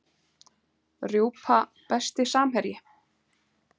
Rjúpa Besti samherji?